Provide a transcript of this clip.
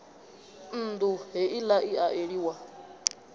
nnḓu heila i a eliwa